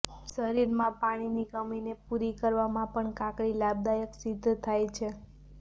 શરીરમાં પાણીની કમીને પૂરી કરવામા પણ કાકડી લાભદાયક સિદ્ધ થાય છે